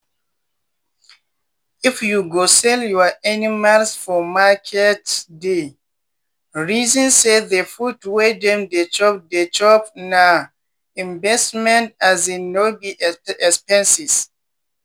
if you go sell your animals for marketsdey reason say the food wey dem dey chop dey chop na investment um no be expenses.